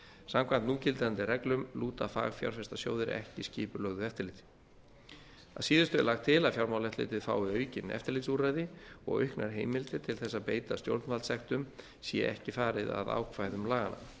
samkvæmt núgildandi reglum lúta fagfjárfestasjóðir ekki skipulögðu eftirliti að síðustu er lagt til að fjármálaeftirlitið fái aukin eftirlitsúrræði og auknar heimildir til þess að beita stjórnvaldssektum sé ekki farið að ákvæðum laganna